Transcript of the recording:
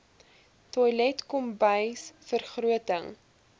toilet kombuis vergroting